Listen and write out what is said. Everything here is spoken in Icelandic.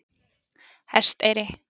Hesteyri